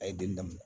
A ye den daminɛ